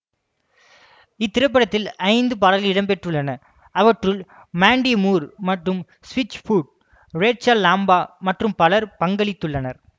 இத்திரைப்படத்தில் ஐந்து பாடல்கள் இடம்பெற்றுள்ளன அவற்றுள் மாண்டி மூர் மற்றும் ஸ்விட்ச்ஃபுட் ரேச்சல் லாம்பா மற்றும் பலர் பங்களித்துள்ளனர்